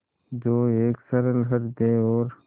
जो एक सरल हृदय और